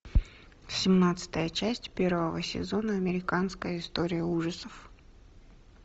семнадцатая часть первого сезона американская история ужасов